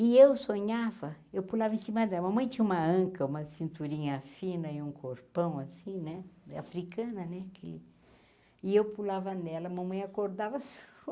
E eu sonhava, eu pulava em cima dela, mamãe tinha uma anca, uma cinturinha fina e um corpão assim, né, africana, né, que... E eu pulava nela, mamãe acordava só.